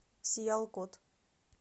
сиялкот